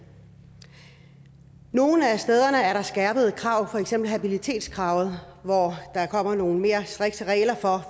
nogle af stederne er der skærpede krav for eksempel habilitetskravet hvor der kommer nogle mere strikse regler for